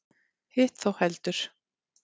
Hitt þó heldur.